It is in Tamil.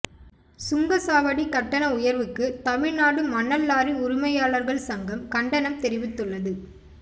சுங்க சாவடி கட்டண உயர்வுக்கு தமிழ்நாடு மணல் லாரி உரிமையாளர்கள் சங்கம் கண்டனம் தெரிவித்துள்ளது